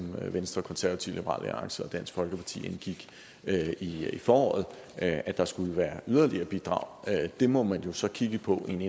venstre konservative liberal alliance og dansk folkeparti indgik i i foråret at der skulle være yderligere bidrag det må man jo så kigge på i en